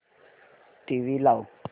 TV लाव